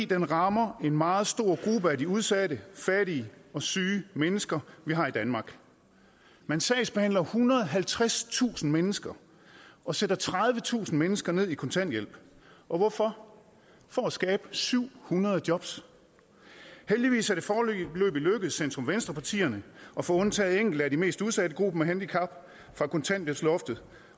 den rammer en meget stor gruppe af de udsatte fattige og syge mennesker vi har i danmark man sagsbehandler ethundrede og halvtredstusind mennesker og sætter tredivetusind mennesker ned i kontanthjælp og hvorfor for at skabe syv hundrede jobs heldigvis er det foreløbig lykkedes centrum venstre partierne at få undtaget enkelte af de mest udsatte grupper med handicap fra kontanthjælpsloftet